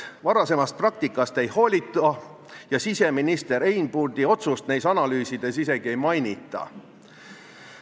Varasemast praktikast ei hoolita ja siseminister Einbundi otsust nendes analüüsides isegi ei mainita.